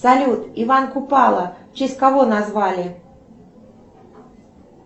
салют иван купала в честь кого назвали